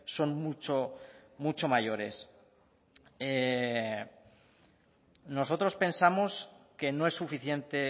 son muchos mayores nosotros pensamos que no es suficiente